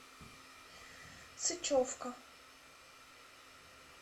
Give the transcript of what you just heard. сычевка